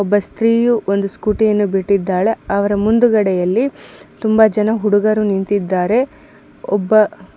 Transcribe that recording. ಒಬ್ಬ ಸ್ತ್ರೀಯು ಒಂದು ಸ್ಕೂಟಿ ಅನ್ನು ಬಿಟ್ಟಿದಾಳೆ ಅವರ ಮುಂದುಗಡೆ ಯಲ್ಲಿ ತುಂಬಾ ಜನ ಹುಡುಗರು ನಿಂತಿದ್ದಾರೆ ಒಬ್ಬ --